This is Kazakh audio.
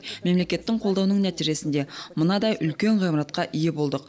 мемлекеттің қолдауының нәтижесінде мынадай үлкен ғимаратқа ие болдық